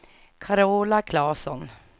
Carola Klasson